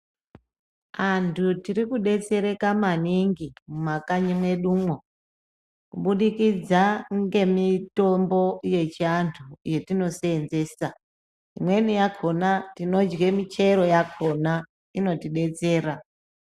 Antu tiri kudetsereka maningi mumakanyi mwedumwo. Kubudikidza ngemitombo yechiantu yatinoseenzesa. Imweni yakhona tinodya michero yakhona inotidetsera.